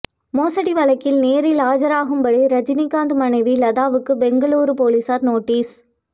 மோசடி வழக்கில் நேரில் ஆஜராகும்படி ரஜினிகாந்த் மனைவி லதாவுக்கு பெங்களூரு போலீசார் நோட்டீஸ்